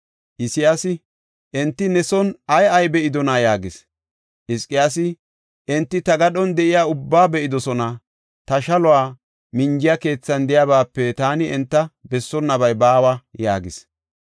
Isayaasi, “Enti ne son ay ay be7idonaa?” yaagis. Hizqiyaasi, “Enti ta gadhon de7iya ubbaa be7idosona; ta shalo minjiya keethan de7iyabaape taani enta bessaboonabay baawa” yaagis.